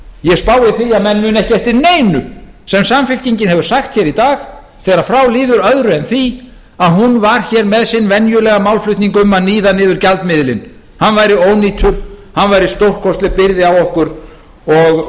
ég spái því að menn muni ekki eftir neinu sem samfylkingin hefur sagt hér í dag þegar frá líður öðru en því að hún var hér með sinn venjulega málflutning um að níða niður gjaldmiðilinn hann væri ónýtur hann væri stórkostleg byrði á okkur og